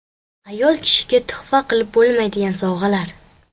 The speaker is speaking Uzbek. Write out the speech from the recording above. Ayol kishiga tuhfa qilib bo‘lmaydigan sovg‘alar.